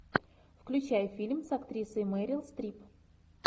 включай фильм с актрисой мэрил стрип